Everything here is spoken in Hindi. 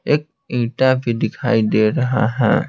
एक ईंटा भी दिखाई दे रहा है।